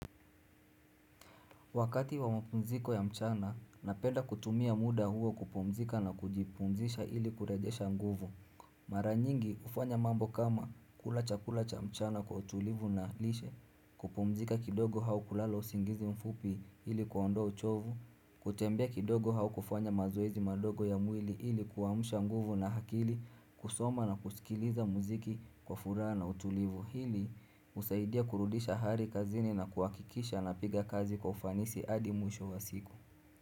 Wakati wa mapumziko ya mchana, napenda kutumia muda huo kupumzika na kujipumzisha ili kurajesha nguvu. Mara nyingi hufanya mambo kama kula cha kula cha mchana kwa utulivu na lishe, kupumzika kidogo au kulala usingizi mfupi ili kuondoa uchovu, kutembea kidogo au kufanya mazoezi madogo ya mwili ili kuamsha nguvu na akili kusoma na kusikiliza muziki kwa furaha na utulivu. Hili husaidia kurudisha hali kazini na kuhakikisha na piga kazi kwa ufanisi hadi mwisho wa siku.